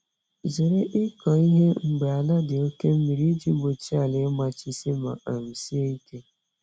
Zere ịkọ ihe mgbe ala dị oke mmiri iji gbochie ala ịmachisi ma um sie ike